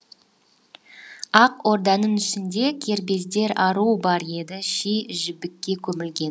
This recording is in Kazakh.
ақ орданың ішінде кербездер ару бар еді ши жібекке көмілген